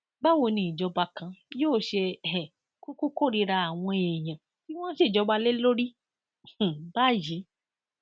báwo ni ìjọba kan yóò ṣe um kúkú kórìíra àwọn èèyàn tí wọn ń ṣèjọba lé lórí um báyìí